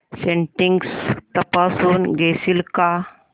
settings तपासून घेशील का